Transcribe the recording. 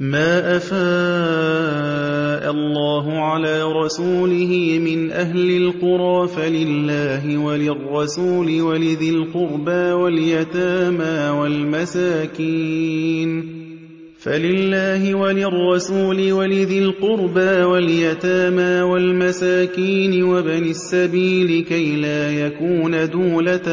مَّا أَفَاءَ اللَّهُ عَلَىٰ رَسُولِهِ مِنْ أَهْلِ الْقُرَىٰ فَلِلَّهِ وَلِلرَّسُولِ وَلِذِي الْقُرْبَىٰ وَالْيَتَامَىٰ وَالْمَسَاكِينِ وَابْنِ السَّبِيلِ كَيْ لَا يَكُونَ دُولَةً